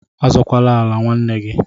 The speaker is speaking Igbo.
Azọkwala ala nwanna gị!